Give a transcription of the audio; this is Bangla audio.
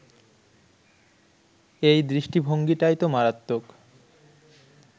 এই দৃষ্টিভঙ্গিটাই তো মারাত্মক